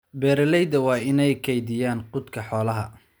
Beeralayda waa inay kaydiyaan quudka xoolaha.